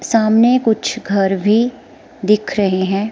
सामने कुछ घर भी दिख रहे हैं।